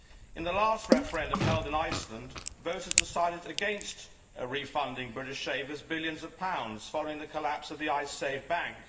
In the last referendum held in Iceland, voters decided against refunding British savers billions of pounds following the collapse of the Icesave bank.